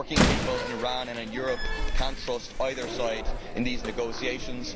Working people in Iran and in Europe cannot trust either side in these negotiations.